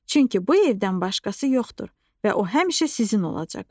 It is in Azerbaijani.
Çünki bu evdən başqası yoxdur və o həmişə sizin olacaq.